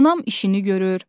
Anam işini görür.